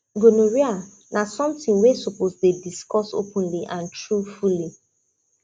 gonorrhea na something we suppose dey discuss openly and truthfully